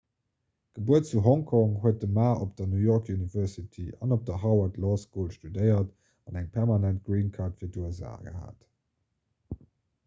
gebuer zu hongkong huet de ma op der new york university an op der harvard law school studéiert an eng permanent green card fir d'usa gehat